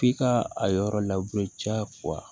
F'i ka a yɔrɔ labure ca wa